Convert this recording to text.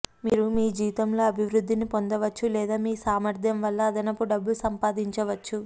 మీరు మీజీతంలో అభివృద్ధిని పొందవచ్చు లేదా మీ సామర్థ్యం వల్ల అదనపు డబ్బు సంపాదించవచ్చు